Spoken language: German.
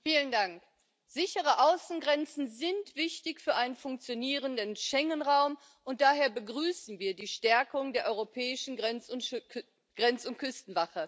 Herr Präsident! Sichere Außengrenzen sind wichtig für einen funktionierenden Schengenraum, und daher begrüßen wir die Stärkung der europäischen Grenz und Küstenwache.